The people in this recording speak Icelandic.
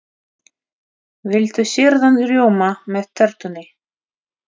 Viltu sýrðan rjóma með tertunni?